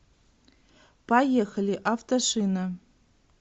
поехали автошина